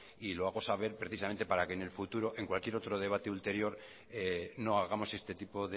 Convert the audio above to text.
y lo hago saber precisamente para que en el futuro en cualquier otro debate ulterior no hagamos este tipo